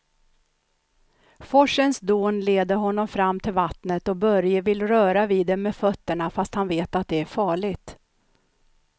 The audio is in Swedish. Forsens dån leder honom fram till vattnet och Börje vill röra vid det med fötterna, fast han vet att det är farligt.